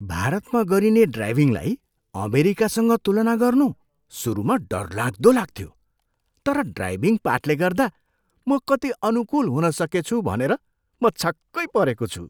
भारतमा गरिने ड्राइभिङलाई अमेरिकासँग तुलना गर्नु सुरुमा डरलाग्दो लाग्थ्यो, तर ड्राइभिङ पाठले गर्दा, म कति अनुकूल हुन सकेछु भनेर म छक्कै परेको छु!